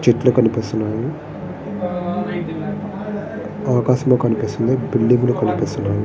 చెట్లు కనిపిస్తున్నాయి. ఆకాశము కనిపిస్తుంది. బిల్డింగు లు కనిపిస్తున్నాయి.